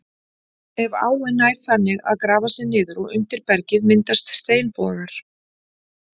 Ef áin nær þannig að grafa sig niður og undir bergið myndast steinbogar.